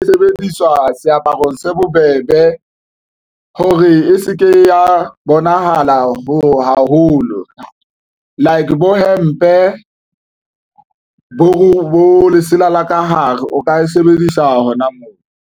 E sebediswa seaparong se bobebe hore e seke ya bonahala ho haholo like bo hempe bo lesela la ka hare o ka e sebedisa hona moo.